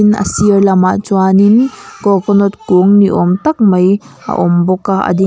a sir lamah chuanin coconut kung ni awm tak mai a awm bawk a a ding --